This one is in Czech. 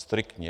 Striktně.